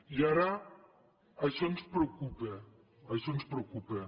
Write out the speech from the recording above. i ara això ens preocupa això ens preocupa